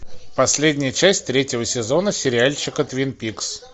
последняя часть третьего сезона сериальчика твин пикс